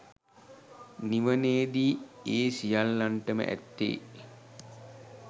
නිවනේදී ඒ සියල්ලන්ටම ඇත්තේ